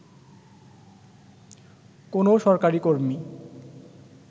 কোনও সরকারী কর্মী